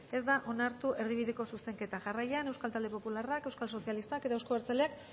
ez da onartu erdibideko zuzenketa jarraian euskal talde popularrak euskal sozialistak eta euzko abertzaleak